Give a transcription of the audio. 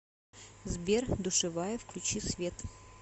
сбер душевая включи свет